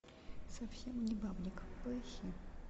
совсем не бабник поищи